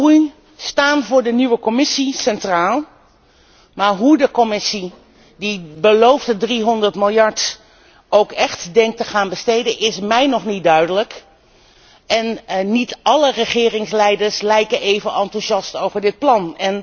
Banen en groei staan voor de nieuwe Commissie centraal, maar hoe de Commissie die beloofde 300 miljard ook echt denkt te gaan besteden is mij nog niet duidelijk en niet alle regeringsleiders lijken even enthousiast over dit plan.